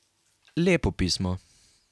Lepo pismo.